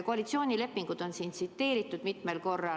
Koalitsioonilepingut on siin tsiteeritud mitmel korral.